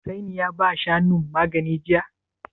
Hussaini ya ba Shanun magani jiya?